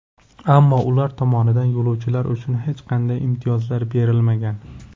Ammo ular tomonidan yo‘lovchilar uchun hech qanday imtiyozlar berilmagan.